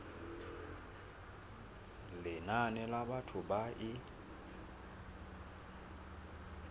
lenane la batho ba e